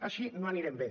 així no anirem bé